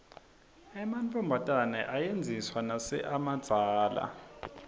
ematfombatane ayedziswa nase amadzala